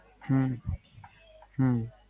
હમ હમ